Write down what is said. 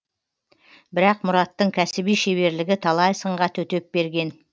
бірақ мұраттың кәсіби шеберлігі талай сынға төтеп берген